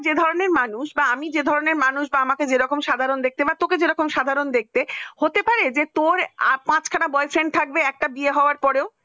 যে ধরনের মানুষ আমি যে ধরনের মানুষ বা আমাকে যেরকম সাধারণ দেখতে বা তোকে যেরকম সাধারণ দেখতে হতে পারে যে তোর পাঁচ খানা boyfriend থাকবে বিয়ে হবার পরেও